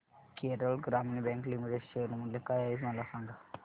Kerala Gramin bank limited share मूल्य काय आहे मला सांगा